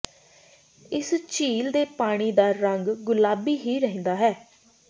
ਇਸ ਝੀਲ ਦੇ ਪਾਣੀ ਦਾ ਰੰਗ ਗੁਲਾਬੀ ਹੀ ਰਹਿੰਦਾ ਹੈ